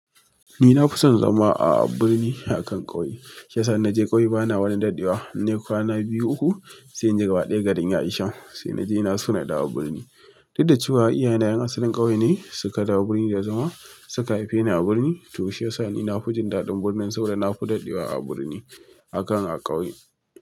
Ni na fi son zama a birni akan ƙauye. Shiya sa innaje kauye bana wani dadewa innai kwana biyu uku sai inji gaba da garin ya isan, sai naji. Ina so na dawo birni. Duk da cewa iyaye na ƴan asalin ƙauye ne suka dawo birni da zama suka haife ni a birni to shi yasa ni na fi jin daɗin birnin sabida na fi dadewa a birni akan a ƙauye.